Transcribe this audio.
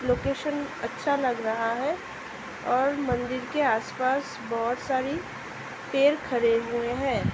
Location अच्‍छा लग रहा है और मंदिर के आसपास बोहत सारी पेड़ खरे हुए हैं ।